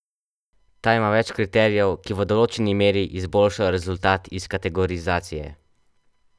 Ta ima več kriterijev, ki v določeni meri izboljšajo rezultat iz kategorizacije.